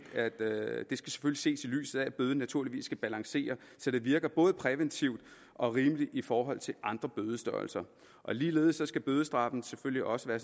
ses i lyset af at bøden naturligvis skal balancere så det virker både præventivt og rimeligt i forhold til andre bødestørrelser ligeledes skal bødestraffen selvfølgelig også være af